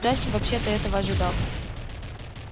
джастин вообще-то этого ожидал